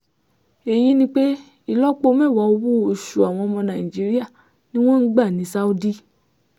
èyí ni pé ìlọ́po mẹ́wàá owó-oṣù àwọn ọmọ nàìjíríà ni wọ́n ń gbà ní saudi